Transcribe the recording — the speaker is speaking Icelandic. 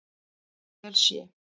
vel sé.